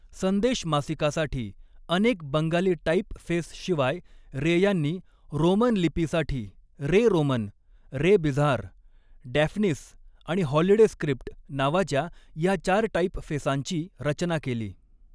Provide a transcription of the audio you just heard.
संदेश मासिकासाठी अनेक बंगाली टाइपफेसशिवाय रे यांनी रोमन लिपीसाठी 'Ray Roman', 'Ray Bizarre', 'Daphnis' आणि 'हॉलिडे स्क्रिप्ट' नावाच्या या चार टाइपफेसांची रचना केली.